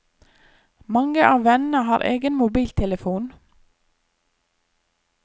Mange av vennene har egen mobiltelefon.